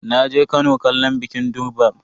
Naje Kano kallon bikin durbar.